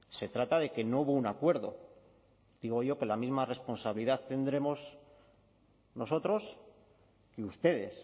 se trata de que no hubo un acuerdo digo yo que la misma responsabilidad tendremos nosotros que ustedes